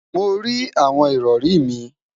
Mo rí awọn ìrọrì mi